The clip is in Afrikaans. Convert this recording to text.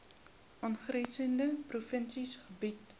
aangrensende provinsies bedien